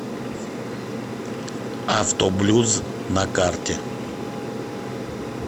автоблюз на карте